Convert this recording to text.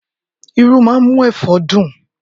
Irú máa ń mú ẹ̀fọ́ dùn.